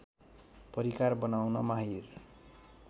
परिकार बनाउन माहिर